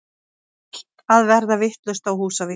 Allt að verða vitlaust á Húsavík!!!!!